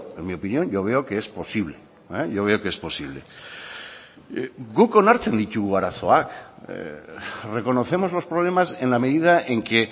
en mi opinión yo veo que es posible yo veo que es posible guk onartzen ditugu arazoak reconocemos los problemas en la medida en que